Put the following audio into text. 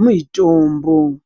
muitombo.